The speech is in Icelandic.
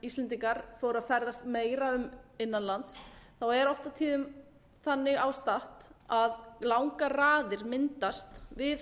íslendingar fóru að ferðast meira innan lands er oft á tíðum þannig ástatt að langar raðir myndast við